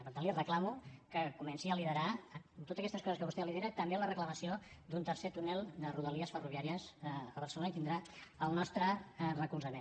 per tant li reclamo que comenci a liderar amb totes aquestes coses que vostè lidera també la reclamació d’un tercer túnel de rodalia ferroviària a barcelona i tindrà el nostre recolzament